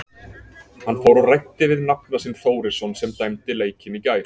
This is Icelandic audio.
Hann fór og ræddi við nafna sinn Þórisson sem dæmdi leikinn í gær.